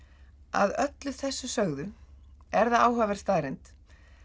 að öllu þessu sögðu er það áhugaverð staðreynd